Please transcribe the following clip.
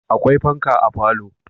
Akwai fanka a falo